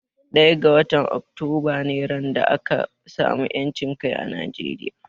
Ɗaya ga watan Oktoba ne ran da aka samu 'yancin kai a Nigeria.